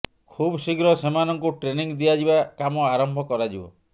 ଖୁବ୍ ଶୀଘ୍ର ସେମାନଙ୍କୁ ଟ୍ରେନିଙ୍ଗ ଦିଆଯିବା କାମ ଆରମ୍ଭ କରାଯିବ